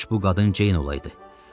Kaş bu qadın Ceyn olaydı.